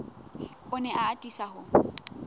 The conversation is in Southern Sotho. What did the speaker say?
o ne a atisa ho